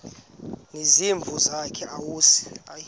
nezimvu zakhe awusayi